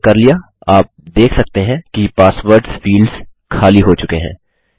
हमने कर लिया आप देख सकते हैं कि पासवर्ड्स फील्ड्स खाली हो चुके हैं